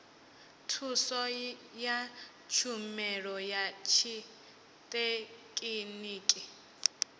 thuso ya tshumelo ya tshithekhiniki